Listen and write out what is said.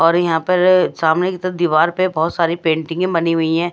और यहां पर सामने की तरफ दीवार पे बहोत सारी पेंटिंगे बनी हुई है।